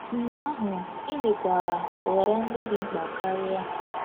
Mgbe ahụ, e nwekwara nhọrọ ndị dị mkpa karịa.